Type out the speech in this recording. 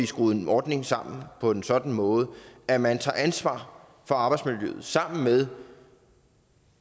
skruet en ordning sammen på en sådan måde at man tager ansvar for arbejdsmiljøet sammen med